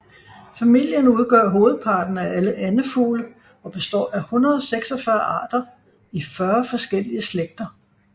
Familien udgør hovedparten af alle andefugle og består af 146 arter i 40 forskellige slægter